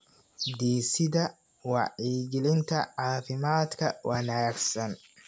Dhisida Wacyigelinta Caafimaadka Wanaagsan.